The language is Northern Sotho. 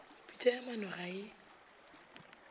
pitša ya maano ga e